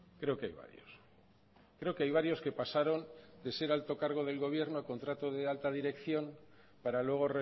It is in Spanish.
creo que hay varios creo que hay varios que pasaron de ser alto cargo del gobierno a contrato de alta dirección para luego